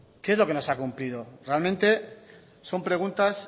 qué es lo que no se ha cumplido realmente son preguntas